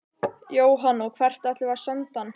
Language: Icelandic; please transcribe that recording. Jóhann: Og hvert ætlum við að senda hann?